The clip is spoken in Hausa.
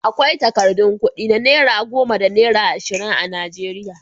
Akwai takardun kuɗi na naira goma da naira ashirin a Najeriya.